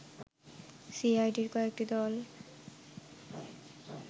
সিআইডির কয়েকটি দল